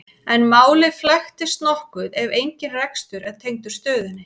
en málið flækist nokkuð ef engin rekstur er tengdur stöðinni